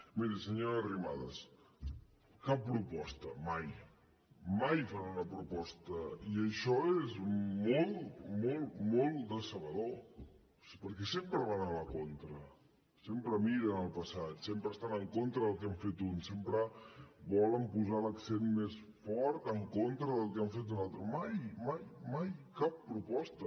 miri senyora arrimadas cap proposta mai mai fan una proposta i això és molt molt decebedor perquè sempre van a la contra sempre miren el passat sempre estan en contra del que hem fet uns sempre volen posar l’accent més fort en contra del que han fet uns altres mai mai cap proposta